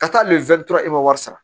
Ka taa hali e ma wari sara